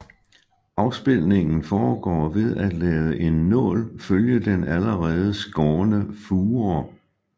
Afspilningen foregår ved at lade en nål følge den allerede skårne fure